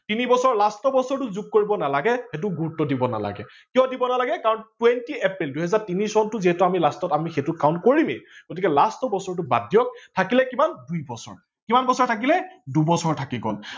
তিনি বছৰ last বছৰটো যোগ কৰিব নালাগে সেইটো গুৰুত্ত্ব দিব নালাগে কিয় দিব নালাগে কাৰন twenty april দুহেজাৰ তিনি চনটো যিহেতু আমি last ত সেইটো count কৰিমেই গতিকে last ৰ বছৰটো বাদ দিয়ক থাকিলে কিমান দুই বছৰ, কিমান বছৰ থাকিলে দুবছৰ থাকি গল।